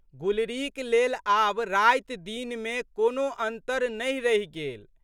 गुलरीक लेल आब रातिदिनमे कोनो अन्तर नहि रहि गेल।